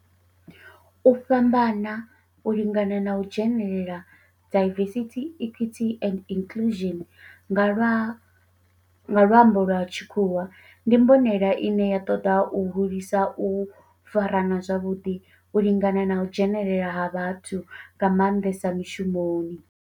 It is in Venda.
U fhambana, u lingana na u dzhenelela, diversity, equity and inclusion nga lwambo lwa tshikhuwa, ndi mbonelelo ine ya toda u hulisa u farana zwavhudi, u lingana na u dzhenelela ha vhathu nga mandesa mishumoni.